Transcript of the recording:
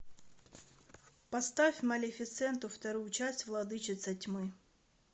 поставь малефисенту вторую часть владычица тьмы